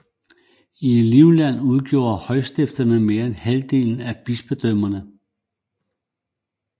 I Livland udgjorde højstifterne mere end halvdelen af bispedømmerne